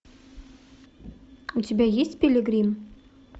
у тебя есть пилигрим